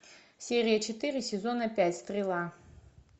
серия четыре сезона пять стрела